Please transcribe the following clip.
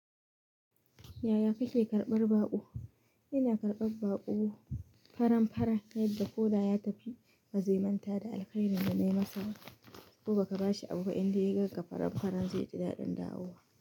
Yaya kake karɓar baƙo? Ina karɓar baƙo faran-faran yadda ko da ya tafi, bazai manta da alkhairin da na yi masa. Ko baka ba shi abu indai da ya ganka faran-faran zai ji daɗin dawowa.